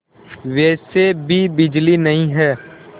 वैसे भी बिजली नहीं है